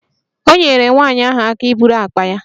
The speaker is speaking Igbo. O nyeere nwanyị ahụ aka iburu akpa ya